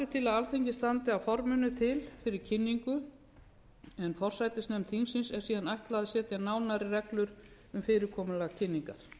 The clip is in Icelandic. er til að alþingi standi að forminu til fyrir kynningu en forsætisnefnd þingsins er síðan ætlað að setja nánari reglur um fyrirkomulag kynningar